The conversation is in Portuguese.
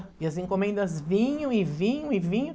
E as encomendas vinham e vinham e vinham.